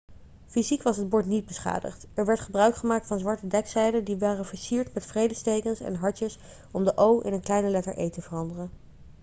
fysiek was het bord niet beschadigd er werd gebruik gemaakt van zwarte dekzeilen die waren versierd met vredestekens en hartjes om de o' in een kleine letter e' te veranderen